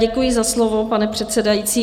Děkuji za slovo, pane předsedající.